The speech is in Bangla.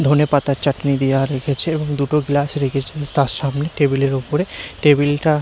ধনেপাতার চাটনি দিয়া রেখেছে এবং দুটো গ্লাস রেখেছেন তার সামনে টেবিল -এর ওপরে টেবিল -টা--